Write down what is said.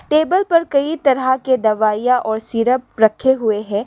Table पर कई तरह के दवाइयां और सिरप रखे हुए है।